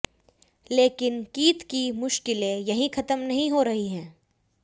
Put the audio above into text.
लेकिन कीथ की मुश्किलें यहीं खत्म नहीं हो रही हैं